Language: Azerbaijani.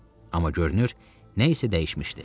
Amma görünür nəsə dəyişmişdi.